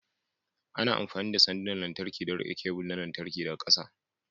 Ana amfani da sandunan lantarki don riƙe kebul na lantarki daga ƙasa.